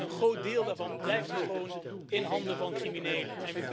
Een groot deel daarvan blijft dus gewoon in handen van criminelen.